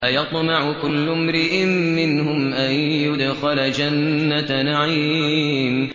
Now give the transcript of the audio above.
أَيَطْمَعُ كُلُّ امْرِئٍ مِّنْهُمْ أَن يُدْخَلَ جَنَّةَ نَعِيمٍ